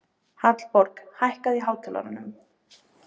Hallborg, hækkaðu í hátalaranum.